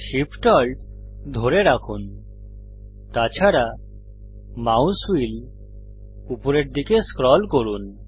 Shift Alt ধরে রাখুন তাছাড়া মাউস হুইল উপরের দিকে স্ক্রল করুন